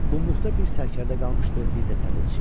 Qumlüqda bir sərkərdə qalmışdı, bir də təbilçi.